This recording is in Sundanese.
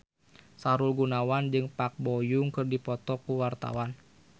Sahrul Gunawan jeung Park Bo Yung keur dipoto ku wartawan